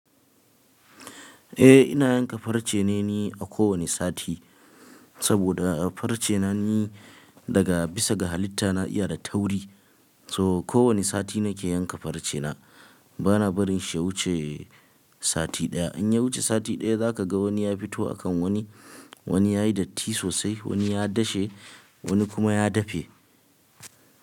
Eh ina yanka farce ne ni a kowanne sati, saboda farce na ni daga bisa ga halitta na iya da tauri. So kowanne sati nake yanka farcena bana barin shi ya wuce sati ɗaya. In ya wuce sati ɗaya za ka ga wani ya fito a kan wani, wani yayi datti sosai, wani ya dashe, wani kuma ya dafe.